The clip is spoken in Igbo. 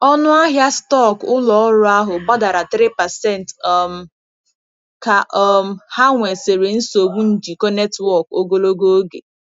Ọnụ ahịa stọkụ ụlọ ọrụ ahụ gbadara 3% um ka um ha nwesịrị nsogbu njikọ netwọk ogologo oge.